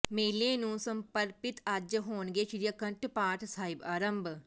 ਮੇਲੇ ਨੂੰ ਸਮਰਪਿਤ ਅੱਜ ਹੋਣਗੇ ਸ੍ਰੀ ਅਖੰਡ ਪਾਠ ਸਾਹਿਬ ਅਰੰਭ